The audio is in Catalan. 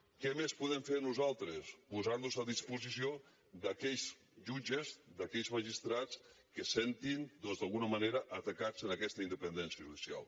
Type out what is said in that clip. què més podem fer nosaltres posar nos a disposició d’aquells jutges d’aquells magistrats que es sentin doncs d’alguna manera atacats en aquesta independència judicial